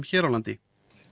hér á landi